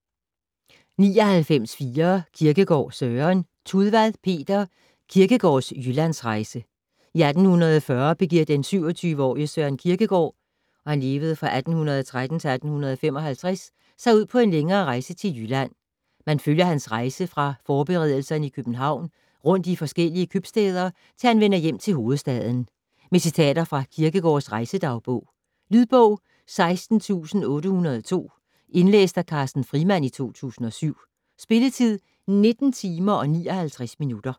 99.4 Kierkegaard, Søren Tudvad, Peter: Kierkegaards Jyllandsrejse I 1840 begiver den 27-årige Søren Kierkegaard (1813-1855) sig ud på en længere rejse til Jylland. Man følger hans rejse fra forberedelserne i København, rundt i forskellige købstæder til han vender hjem til hovedstaden. Med citater fra Kierkegaards rejsedagbog. Lydbog 16802 Indlæst af Carsten Frimand, 2007. Spilletid: 19 timer, 59 minutter.